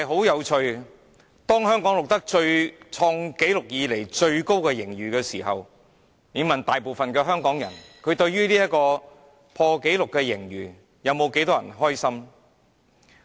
有趣的是，當香港錄得有史以來最高盈餘時，有多少香港人對這破紀錄盈餘感到開心呢？